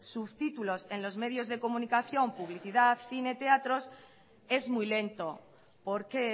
subtítulos en los medios de comunicación publicidad cine teatros es muy lento porque